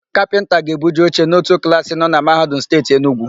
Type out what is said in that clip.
Kapịnta ga-ebuje oche n'ótù klaasị nọ na Mahadum Steeti Enugwu.